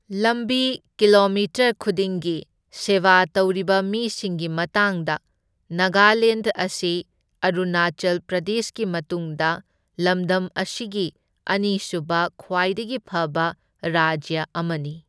ꯂꯝꯕꯤ ꯀꯤꯂꯣꯃꯤꯇꯔ ꯈꯨꯗꯤꯡꯒꯤ ꯁꯦꯕꯥ ꯇꯧꯔꯤꯕ ꯃꯤꯁꯤꯡꯒꯤ ꯃꯇꯥꯡꯗ, ꯅꯥꯒꯥꯂꯦꯟꯗ ꯑꯁꯤ ꯑꯔꯨꯅꯥꯆꯜ ꯄ꯭ꯔꯗꯦꯁꯀꯤ ꯃꯇꯨꯡꯗ ꯂꯝꯗꯝ ꯑꯁꯤꯒꯤ ꯑꯅꯤꯁꯨꯕ ꯈ꯭ꯋꯥꯏꯗꯒꯤ ꯐꯕ ꯔꯥꯖ꯭ꯌ ꯑꯃꯅꯤ꯫